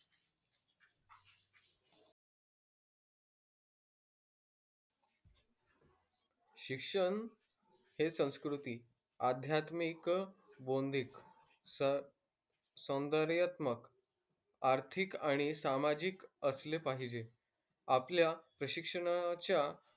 शिक्षण हे संस्कृति, अध्यात्मिक, बौद्धिक स सौंदर्यात्मक आर्थिक आणि सामाजिक असले पाहिजे. आपल्या प्रशिक्षणाच्या,